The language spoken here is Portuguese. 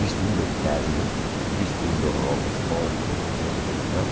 vestindo terno, vestindo roupa esporte, não sei o que vem mais.